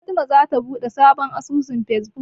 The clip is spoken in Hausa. Fatima zata buɗe sabon asusun Fesbuk.